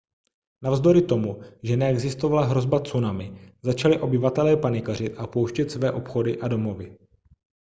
navzdory tomu že neexistovala hrozba tsunami začali obyvatelé panikařit a opouštět své obchody a domovy